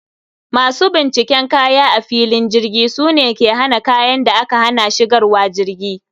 Masu binciken kaya a filin jirgi sune ke hana kayan da aka hana shigarwa jirgi